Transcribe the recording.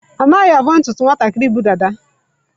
Anaghị avọ ntutu nwatakịrị bu dada.